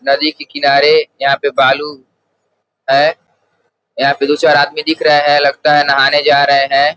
नदी के किनारे यहां पे बालू है यहां पे दो चार आदमी दिख रहे हैं लगता है नहाने जा रहे हैं।